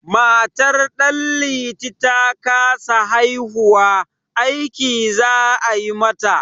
Matar Ɗanliti ta kasa haihuwa, aiki za a yi mata.